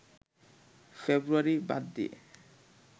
ফেব্রুয়ারি বাদ দিয়ে